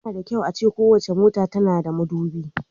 Yana da kyau a ce kowace mota tana da madubi.